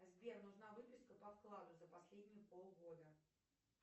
сбер нужна выписка по вкладу за последние пол года